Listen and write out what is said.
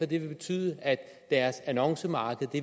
det vil betyde at deres annoncemarked